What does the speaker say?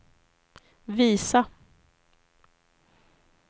visa